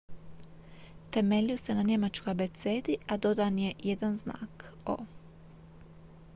"temeljio se na njemačkoj abecedi a dodan je jedan znak "õ/õ"".